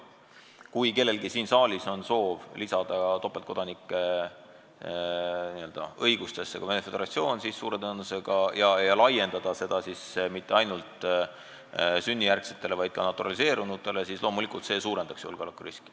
Kui kellelgi siin saalis on soov lisada loetellu ka Venemaa Föderatsioon ja laiendada seda topeltkodakondsuse õigust ka naturaliseerunutele, siis suure tõenäosusega see loomulikult suurendaks julgeolekuriski.